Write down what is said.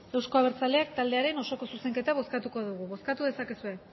euzko abertzaleak taldearen osoko zuzenketa bozkatuko dugu bozkatu dezakezue